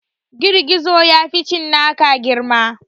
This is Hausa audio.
Gizogizo ya fi cinnaka girma